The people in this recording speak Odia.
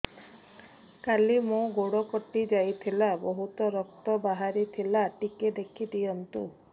କାଲି ମୋ ଗୋଡ଼ କଟି ଯାଇଥିଲା ବହୁତ ରକ୍ତ ବାହାରି ଥିଲା ଟିକେ ଦେଖି ଦିଅନ୍ତୁ